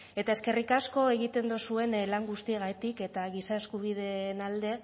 eta eskerrik asko egiten dozuen lan guztiagatik eta giza eskubideen alde